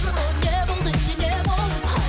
о не болды не не болды